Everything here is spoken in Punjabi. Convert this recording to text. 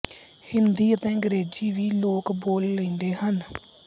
ਹਿੰਦੀ ਅਤੇ ਅੰਗ੍ਰੇਜ਼ੀ ਵੀ ਲੋਕ ਬੋਲ ਲੇਂਦੇ ਹਨ